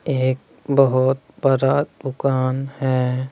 एक बहुत बरा दुकान है।